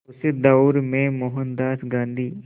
उस दौर में मोहनदास गांधी